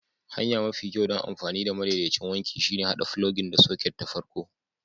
Hanya mafi kyau don amfani da madaidaicin wanki shine haɗa filogin da soket da farko.